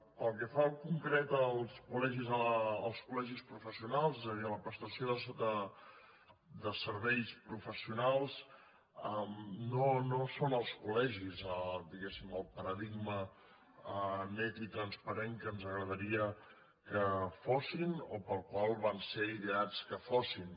pel que fa en concret als col·legis professionals és a dir a la prestació de serveis professionals no són els col·legis diguéssim el paradigma net i transparent que ens agradaria que fossin o per al qual van ser ideats que fossin